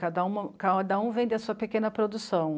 Cada um, cada um vende a sua pequena produção.